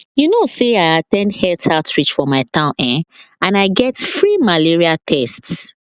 you know say i at ten d health outreach for my town eh and i get free malaria tests